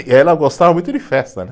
E ela gostava muito de festa, né?